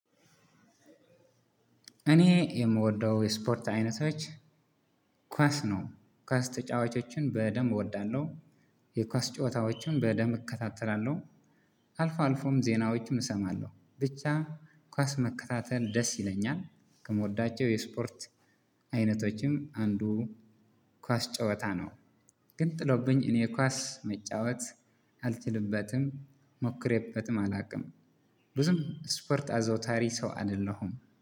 እኔ የምወደው የስፖርት አይነቶች ኳስ ነው ኳስ ተጫዋቾችን በደንብ እወዳለሁ። የኳስ ጨዋታዎችን በደንብ እከታተላለሁ። አልፎ አልፎም ዜናዎችም እሰማለሁ ብቻ ኳስ መከታተል ደስ ይለኛል። ከምወዳቸው የስፖርት አይነቶች አንዱ ኳስ ጨዋታ ነው። ግን ጥሎብኝ እኔ ኳስ መጫወት አልችልበትም ሞክሬበትም አላውቅም ብዙም ስፐርት አዘውታሪ ሰው አይደለሁም